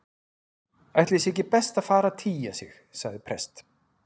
Ætli sé ekki best að fara að tygja sig- sagði prest